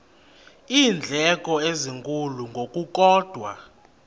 iindleko ezinkulu ngokukodwa